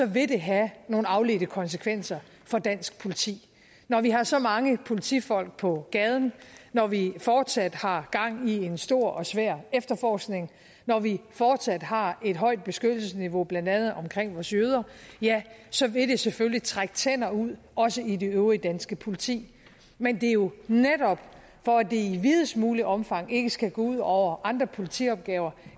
vil det have nogle afledte konsekvenser for dansk politi når vi har så mange politifolk på gaden når vi fortsat har gang i en stor og svær efterforskning når vi fortsat har et højt beskyttelsesniveau blandt andet omkring vores jøder ja så vil det selvfølgelig trække tænder ud også i det øvrige danske politi men det er jo netop for at det i videst muligt omfang ikke skal gå ud over andre politiopgaver